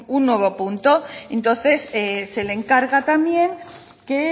un nuevo punto entonces se le encarga también que